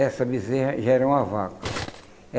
essa bezerra já era uma vaca.